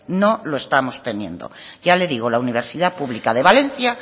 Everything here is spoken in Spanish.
no lo estamos teniendo ya le digo la universidad pública de valencia